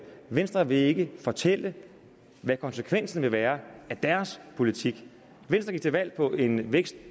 venstre vil ikke fortælle hvad konsekvensen vil være af deres politik venstre gik til valg på en vækst